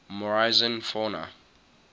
morrison fauna